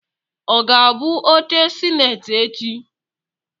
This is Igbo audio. Ọ ga-abụ oche sineti echi?